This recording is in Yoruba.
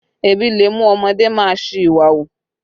Ebi le mú ọmọdé má a ṣi ìwà hù